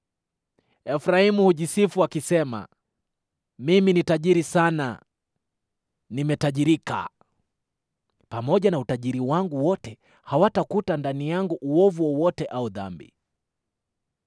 Efraimu hujisifu akisema, “Mimi ni tajiri sana; nimetajirika. Pamoja na utajiri wangu wote hawatakuta ndani yangu uovu wowote au dhambi.”